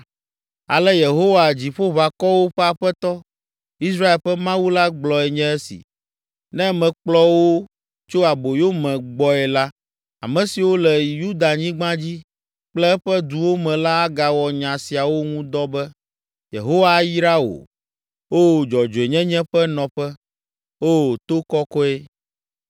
Ale Yehowa, Dziƒoʋakɔwo ƒe Aƒetɔ, Israel ƒe Mawu la gblɔe nye esi: “Ne mekplɔ wo tso aboyome gbɔe la, ame siwo le Yudanyigba dzi kple eƒe duwo me la agawɔ nya siawo ŋu dɔ be, ‘Yehowa ayra wò, O, dzɔdzɔenyenye ƒe nɔƒe, O, to kɔkɔe.’